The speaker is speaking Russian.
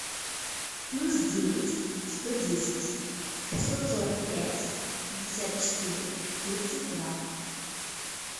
плюс девять сто десять шестьсот сорок пять пятьдесят четыре тридцать два